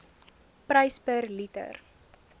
prys per liter